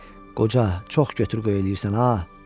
Qoca: “Çox götür-qoy eləyirsən ha!”